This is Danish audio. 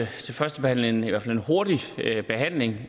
første behandling i hvert fald en hurtig behandling